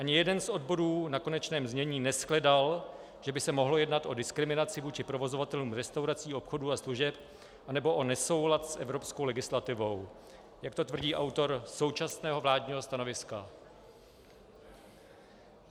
Ani jeden z odborů na konečném znění neshledal, že by se mohlo jednat o diskriminaci vůči provozovatelům restaurací, obchodů a služeb anebo o nesoulad s evropskou legislativou, jak to tvrdí autor současného vládního stanoviska.